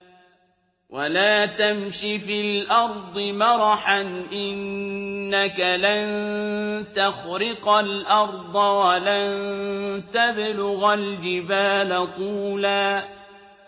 وَلَا تَمْشِ فِي الْأَرْضِ مَرَحًا ۖ إِنَّكَ لَن تَخْرِقَ الْأَرْضَ وَلَن تَبْلُغَ الْجِبَالَ طُولًا